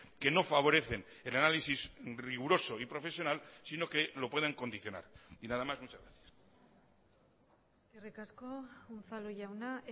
que no favorecen el análisis riguroso y profesional sino que lo pueden condicionar y nada más muchas gracias eskerrik asko unzalu jauna